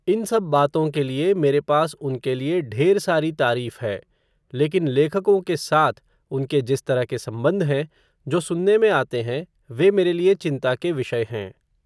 इन सब बातों के लिए, मेरे पास उनके लिए, ढेर सारी तारीफ़ है, लेकिन लेखकों के साथ, उनके जिस तरह के संबंध हैं, जो सुनने में आते हैं, वे मेरे लिए चिंता के विषय हैं